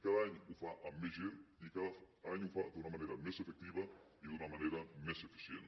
cada any ho fa amb més gent i cada any ho fa d’una manera més efectiva i d’una manera més eficient